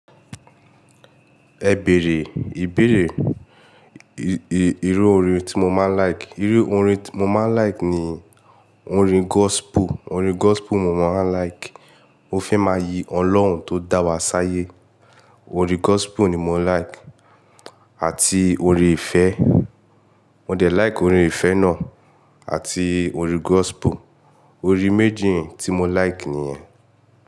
Ẹ bèèrè, ìbéèrè, i-i-ìrú orin tí mo máa ń like. Irú orin tí mo máa ń like ni orin gospel, orin gospel mo máa like. Mo fẹ́ máa yi Ọlọ́run tó dá wa sáyé. Orin gospel ni mo like àti orin ìfẹ́. Mo de like orin ìfẹ́ náà àti orin gospel. Orin méjì tí mo like nìyẹn.